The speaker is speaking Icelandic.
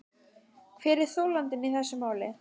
Hver er þolandinn í þessu máli.